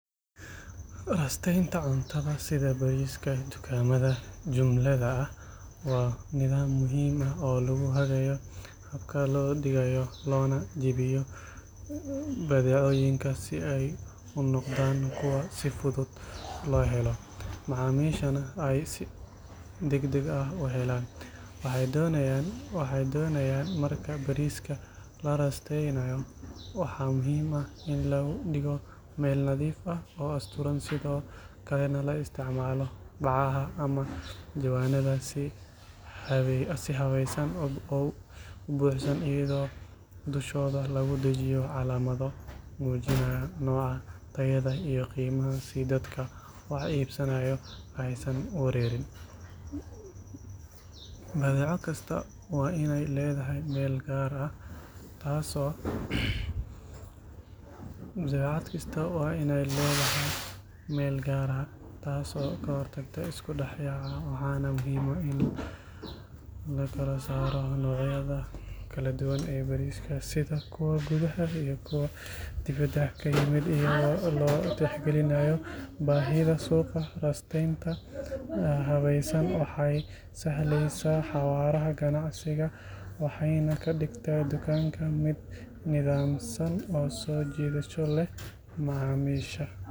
Rasteynta cuntada sida bariiska dukaamada jumlada ah waa nidaam muhiim ah oo lagu hagaajiyo habka loo dhigayo loona iibiyo badeecooyinka si ay u noqdaan kuwo si fudud loo helo macaamiishana ay si degdeg ah u helaan waxay doonayaan marka bariiska la rasteynayo waxaa muhiim ah in lagu dhigo meel nadiif ah oo asturan sidoo kalena la isticmaalo bacaha ama jawaanada si habaysan u buuxsan iyadoo dushooda lagu dhejiyo calaamado muujinaya nooca tayada iyo qiimaha si dadka wax iibsanaya aysan u wareerin badeeco kasta waa inay leedahay meel gaar ah taas oo ka hortagta isku dhex yaaca waxaana muhiim ah in la kala saaro noocyada kala duwan ee bariiska sida kuwa gudaha iyo kuwa dibadda ka yimid iyadoo la tixgelinayo baahida suuqa rasteynta habaysan waxay sahlaysaa xawaaraha ganacsiga waxayna ka dhigtaa dukaanka mid nidaamsan oo soo jiidasho leh macaamiisha.